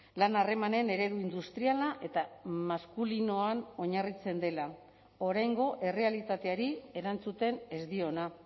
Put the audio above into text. lan harremanen eredu industriala eta maskulinoan oinarritzen dela oraingo errealitateari erantzuten ez diona